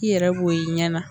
I yɛrɛ bɔ ye i ɲɛ na.